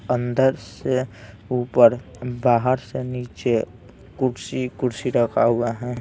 अंदर से ऊपर बाहर से नीचे कुर्सी कुर्सी रखा हुआ हैं।